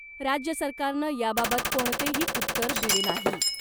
राज्य सरकारनं याबाबत कोणतेही उत्तर दिले नाही .